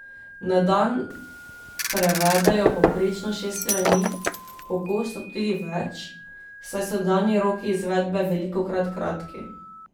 Na dan prevedejo povprečno šest strani, pogosto tudi več, saj so dani roki izvedbe velikokrat kratki.